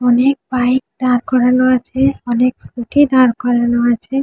অনেক বাইক দাঁড় করানো আছে-এ অনেক স্কুটি দাঁড় করানো আছে ।